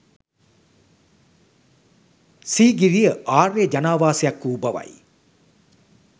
සීගිරිය ආර්ය ජනාවාසයක් වූ බවයි